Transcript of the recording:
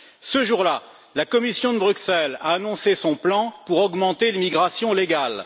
Ce jour là, la Commission de Bruxelles a annoncé son plan pour augmenter l'immigration légale.